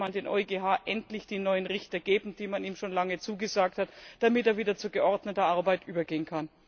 Vielleicht sollte man dem EuGH endlich die neuen Richter geben, die man ihm schon lange zugesagt hat, damit er wieder zu geordneter Arbeit übergehen kann.